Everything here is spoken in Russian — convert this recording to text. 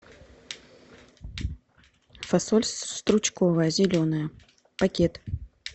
фасоль стручковая зеленая пакет